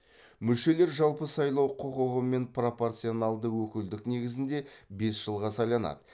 мүшелер жалпы сайлау құқығымен пропорционалды өкілдік негізінде бес жылға сайланады